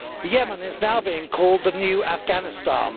Yemen is now being called the new Afghanistan.